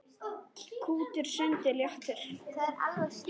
Kútur sundið léttir.